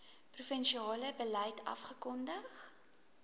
provinsiale beleid afgekondig